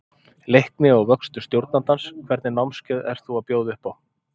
Leikni og vöxtur stjórnandans Hvernig námskeið ert þú að bjóða upp á?